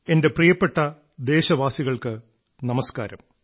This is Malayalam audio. എന്റെ പ്രിയപ്പെട്ട ദേശവാസികൾക്കു നമസ്കാരം